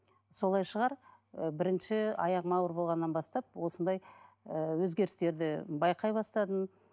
солай шығар і бірінші аяғым ауыр болғаннан бастап осындай ііі өзгерістерді байқай бастадым